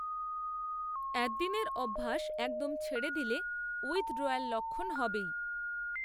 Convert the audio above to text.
অ্যাদ্দিনের অভ্যাস একদম ছেড়ে দিলে উইথড্রয়াল লক্ষণ হবেই